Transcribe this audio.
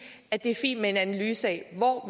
er det fint med en analyse af hvor